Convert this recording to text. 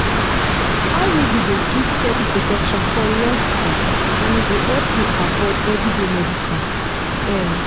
iud dey give steady protection for long time and e go help you avoid everyday medicines. um